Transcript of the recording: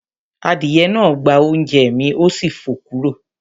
Adìyẹ náà gbá oúnjẹ́ mi, ó sì fò kúrò